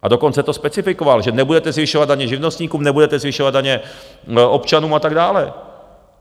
A dokonce to specifikoval, že nebudete zvyšovat daně živnostníkům, nebudete zvyšovat daně občanům a tak dále.